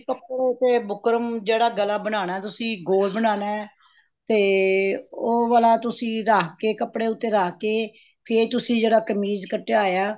ਉਹ ਤੇ ਬੁਕਰਮ ਜਿਹੜਾ ਗਲਾ ਬਣਾਉਣਾ ਤੁਸੀਂ ਗੋਲ ਬਣਾਉਣਾ ਤੇ ਉਹ ਵਾਲਾ ਤੁਸੀਂ ਰੱਖ ਕੇ ਕੱਪੜੇ ਉੱਤੇ ਰੱਖ ਕੇ ਫ਼ੇਰ ਤੁਸੀਂ ਜਿਹੜਾ ਕਮੀਜ਼ ਕੱਟਿਆ ਹੋਇਆ